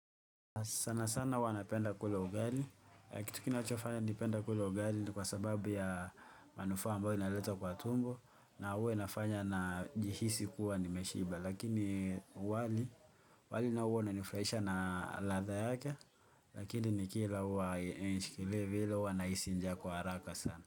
Sanasana huwa napenda kula ugali. Kitu kinachofanya nipenda kula ugali ni kwa sababu ya manufaa ambayo inaleta kwa tumbo na huwa inafanya najihisi kuwa nimeshiba. Lakini wali nao huwa unanifurahisha na ladha yake. Lakini ni kila huwa hainishikilii vile huwa nahisi njaa kwa haraka sana.